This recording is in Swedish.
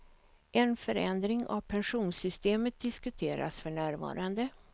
En förändring av pensionssystemet diskuteras för närvarande.